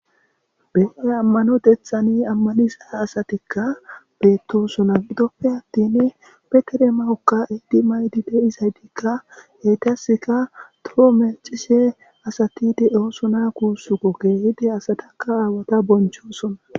bee ammanotethani ammaniza asatikka beettosona gidoppe attin petere mawokka edi maydi deisaydikka heytaska troo mecishe asati de7oosona kuussu ko keehidi asatakka aawata bonchosona